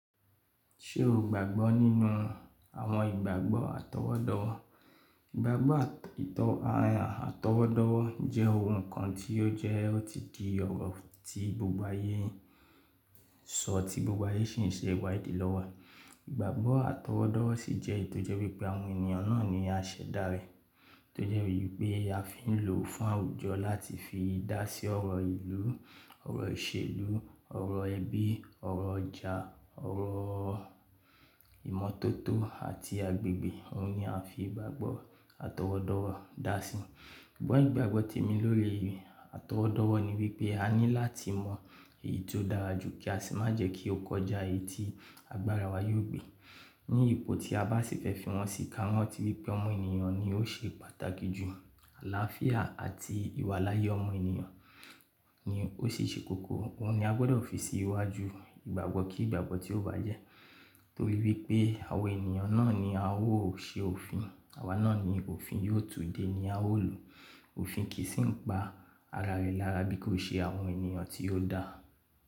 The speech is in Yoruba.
Ṣé o gbàgbọ́ nínú àwọn ìgbàgbọ́ àtọwọ́dọ́? Ìgbàgbọ́ àtọwọ́dọ́wọ́ jẹ́ ohun kan tí ó jẹ́ tí gbogbo ayé ń sọ tí gbogbo ayé sì ń ṣe ìwádì lọ́wọ́. Ìgbàgbọ́ àtọwọ́dọ́wọ́ sì jẹ́ èyí tó jẹ́ wípé àwọn ènìyàn náà ni a ṣẹ̀dá rẹ̀. Tójẹ́ wípé a fi ń lò ó fún àwùjọ láti fi dá sí ọ̀rọ̀ ìlú, ọ̀rọ̀ ìṣèlú, ọ̀rọ̀ ẹbí, ọ̀rọ̀ ọjà, ọ̀rọ̀ ìmọ́tótó àti agbègbè. Ohun ni a ń fi ìgbàgbọ́ àtọwọ́dọ́wọ́ dá síi. Ṣùgbọ́n ìgbàgbọ́ tèmi lórí àtọwọ́dọ́wọ́ ni wípé a ní láti mọ èyí tó dára jù kí a sì má jẹ́ kí ó kọjá èyí tí agbára wa yóò gbé. Ní ipò tí a bá sì fẹ́ fi wọn sí i ká rán ti wípé ọmọ ènìyàn ni ó ṣe pàtàkì jù. Àlàáfíà àti ìwàláyè ọmọ ènìyàn ni ó sì ṣe kókó. Ohun ni a gbọdọ̀ fi sí iwájú ìgbàgbọ́ kí ìgbàgbọ́ tí ó bá jẹ́. Torí wípé àwọn ènìyàn náà ni a ó ṣe òfin. Àwa náà ni òfin yóò tú dé ni a ó lò. Òfin kì í sì ń pa ara rẹ̀ lára bí kò ṣe àwọn ènìyàn tí ó dà.